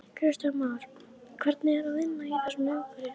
Kristján Már: Hvernig er að vinna í þessu umhverfi?